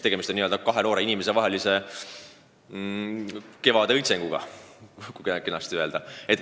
Tegemist on kahe noore inimese elukevade õitsenguga, kui kenasti öelda.